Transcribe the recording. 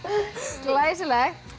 glæsilegt